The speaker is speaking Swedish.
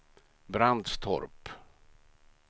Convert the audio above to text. Brandstorp